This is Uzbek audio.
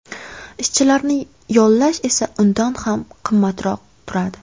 Ishchilarni yollash esa undan ham qimmatroq turadi.